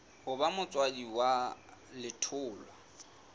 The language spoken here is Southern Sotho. ho ba motswadi wa letholwa